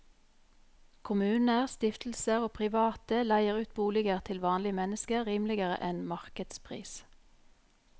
Kommuner, stiftelser og private leier ut boliger til vanlige mennesker rimeligere enn markedspris.